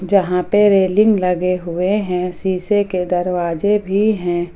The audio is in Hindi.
जहां पे रेलिंग लगे हुए हैं सीसे के दरवाजे भी हैं।